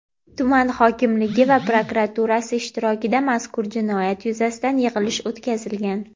tuman hokimligi va prokuraturasi ishtirokida mazkur jinoyat yuzasidan yig‘ilish o‘tkazilgan.